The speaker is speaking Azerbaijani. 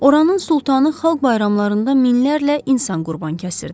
Oranın sultanı xalq bayramlarında minlərlə insan qurban kəsirdi.